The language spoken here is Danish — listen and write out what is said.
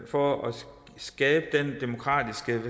for at skabe den demokratiske